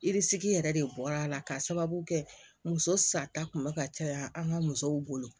yɛrɛ de bɔra la ka sababu kɛ muso sa ta kun bɛ ka caya an ka musow bolo